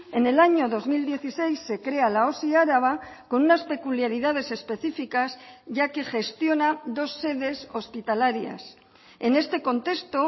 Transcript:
en el año dos mil dieciséis se crea la osi araba con unas peculiaridades específicas ya que gestiona dos sedes hospitalarias en este contexto